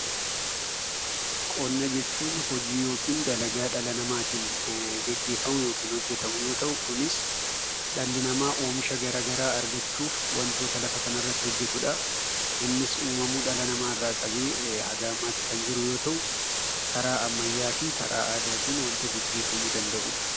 Qonna jechuun hojii yookiin dalagaa dhala namaatiin gaggeeffamu yookiin hojjetamu yoo ta'u; kunis dhalli namaa oomisha garaa garaa argachuuf wantoota lafa kanarratti hojjetuudha. Innis uumamuu dhala namarraa qabee hanga ammatti kan jiru yoo ta'u karaa ammayyaa fi karaa aadaa wanta gaggeeffamuu danda'uudha.